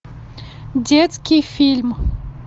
детский фильм